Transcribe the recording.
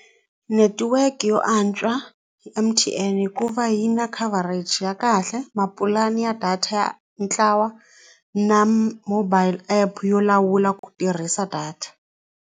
Netiweke yo antswa i M_T_N hikuva yi na coverage ya kahle na mapulani ya data ya ntlawa na mobile app yo lawula ku tirhisa data.